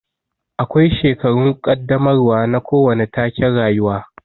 Akwai shekarun kaddamarwa na kowane taken rayuwa